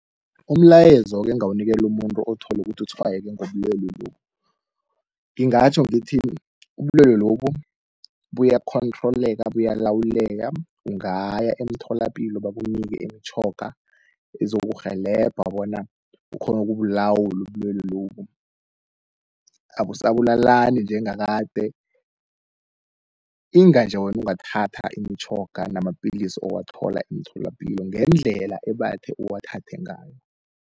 Umlayezo-ke engingawunikela umuntu othole ukuthi utshwayeke ngobulwele lobu. Ngingatjho ngithi ubulwele lobu buyakhonthroleka, buyalawuleka ungaya emtholapilo bakunike imitjhoga, ezokurhelebha bona ukghone ukubulawula ubulwele lobu. Abusabulalani njengakade, inga nje wena ungathatha imitjhoga namapilisi owathola emtholapilo ngendlela ebathe uwathathe ngayo.